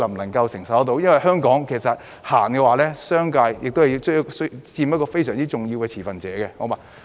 因為在香港，政府推行政策時，商界其實是非常重要的持份者。